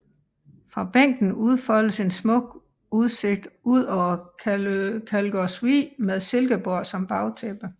Fra bænken udfoldes en smuk udsigt ud over Kalgårdsvig med Silkeborg som bagtæppe